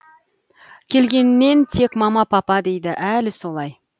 келгеннен тек мама папа дейді әлі солай